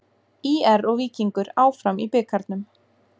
ÍR og Víkingur áfram í bikarnum